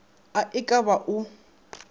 a e ka ba o